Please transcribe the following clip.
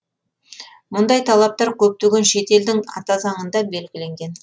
мұндай талаптар көптеген шет елдің ата заңында белгіленген